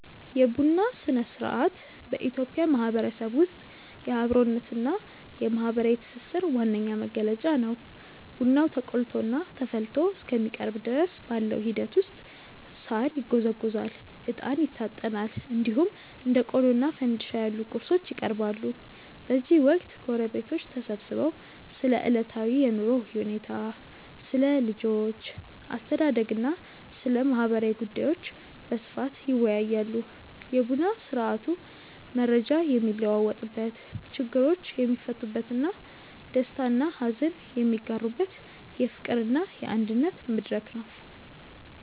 የቡና ሥነ-ሥርዓት በኢትዮጵያ ማህበረሰብ ውስጥ የአብሮነትና የማህበራዊ ትስስር ዋነኛ መገለጫ ነው። ቡናው ተቆልቶና ተፈልቶ እስከሚቀርብ ድረስ ባለው ሂደት ውስጥ ሳር ይጎዘጎዛል፣ እጣን ይታጠናል፣ እንዲሁም እንደ ቆሎና ፋንድሻ ያሉ ቁርሶች ይቀርባሉ። በዚህ ወቅት ጎረቤቶች ተሰብስበው ስለ ዕለታዊ የኑሮ ሁኔታ፣ ስለ ልጆች አስተዳደግና ስለ ማህበራዊ ጉዳዮች በስፋት ይወያያሉ። የቡና ስርአቱ መረጃ የሚለዋወጥበት፣ ችግሮች የሚፈቱበትና ደስታና ሀዘን የሚጋሩበት የፍቅርና የአንድነት መድረክ ነው።